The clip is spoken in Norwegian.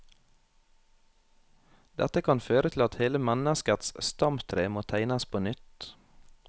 Dette kan føre til at hele menneskets stamtre må tegnes på nytt.